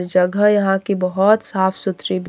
जगह यहां की बहुत साफ सुथरी--